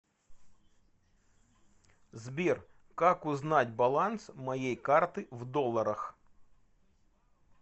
сбер как узнать баланс моей карты в долларах